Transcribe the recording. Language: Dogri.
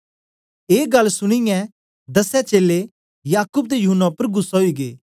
ऐ गल्ल सुनीयै दसैं चेलें याकूब ते यूहन्ना उपर गुस्सै ओई गै